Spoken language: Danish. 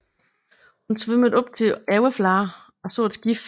Hun svømmede op til overfladen og så et skib